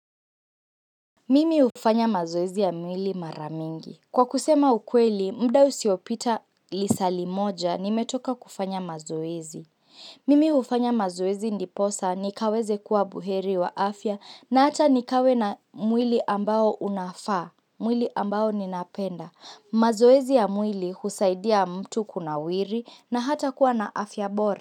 Mimi hufanya mazoezi ya mwili mara mingi. Kwa kusema ukweli, muda usiopita lisali moja, nimetoka kufanya mazoezi Mimi hufanya mazoezi ndiposa, nikaweze kuwa buheri wa afya na hata nikawe na mwili ambao unafaa, mwili ambao ninapenda. Mazoezi ya mwili husaidia mtu kunawiri na hata kuwa na afya bora.